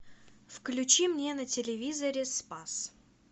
включи мне на телевизоре спас